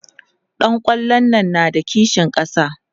ɗan kwallon na da kishin ƙasa?